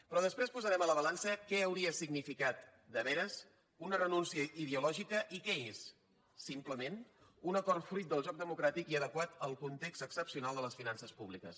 però després posarem a la balança què hauria significat de veres una renúncia ideològica i què és simplement un acord fruit del joc democràtic i adequat al context excepcional de les finances públiques